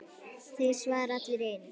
Þeir svara allir í einu.